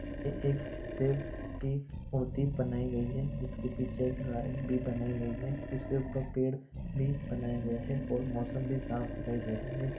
एक शिव की मूर्ति बनाई गयी है जिसके पीछे एक गाय भी बनाई गयी है उसके ऊपर पेड़ भी बनाया गया है और मौसम भी साफ दिखाई दे रहा है।